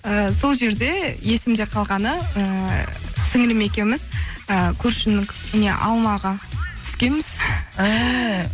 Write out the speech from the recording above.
і сол жерде есімде қалғаны ыыы сіңілім екеуіміз ы көршінің не алмаға түскенбіз ііі